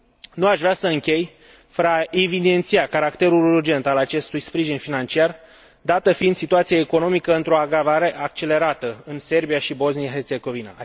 Nu aș vrea să închei fără a evidenția caracterul urgent al acestui sprijin financiar, dată fiind situația economică într o agravare accelerată în Serbia și Bosnia Herțegovina.